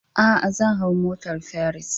A'a, zan hau motar Ferris.